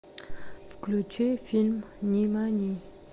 включи фильм нимани